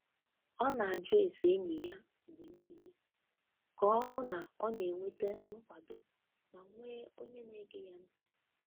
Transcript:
Ọ na-ajụ ese enyi ya mgbe niile ka o hụ na ọ na-enweta nkwado ma nwee onye na-ege ya ntị.